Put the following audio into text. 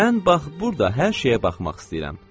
Mən bax burda hər şeyə baxmaq istəyirəm.